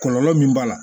Kɔlɔlɔ min b'a la